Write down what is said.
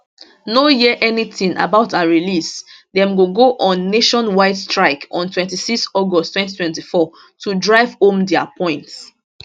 no hear anytin about her release dem go go on nationwide strike on 26 august 2024 to drive home dia point